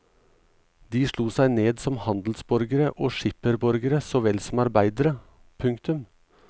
De slo seg ned som handelsborgere og skipperborgere så vel som arbeidere. punktum